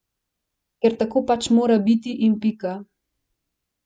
Ker tako pač mora biti in pika.